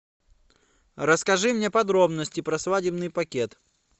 расскажи мне подробности про свадебный пакет